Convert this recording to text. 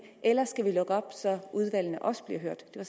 eller skal vi lukke op så udvalgene også bliver hørt det